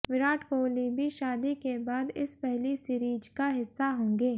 विराट कोहली भी शादी के बाद इस पहली सीरीज का हिस्सा होगें